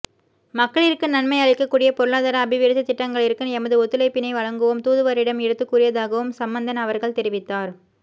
மக்களிற்கு நன்மை அளிக்கக்கூடிய பொருளாதார அபிவிருத்தி திட்டங்களிற்கு எமது ஒத்துழைப்பினை வழங்குவோம் தூதுவரிடம் எடுத்துக் கூறியதாகவும் சம்மந்தன் அவர்கள் தெரிவித்தார்